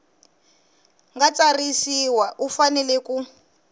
nga tsarisiwa u fanele ku